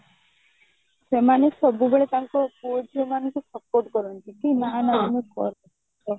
ସେମାନେ ସବୁବେଳେ ତାଙ୍କ ପୁଅ ଝିଅ ମାନଙ୍କୁ support କରନ୍ତି କି